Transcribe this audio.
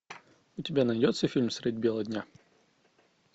у тебя найдется фильм средь бела дня